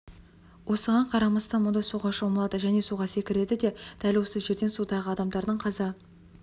осыған қарамастан мұнда суға шомылады және суға секіреді де дәл осы жерде судағы адамдардың қаза